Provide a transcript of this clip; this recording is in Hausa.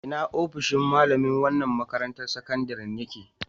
A ina ofishin malamai na wannan makarantar sakandaren ya ke?